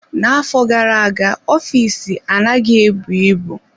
Na-afọ gara-aga ofiisi anaghị ebu ibu.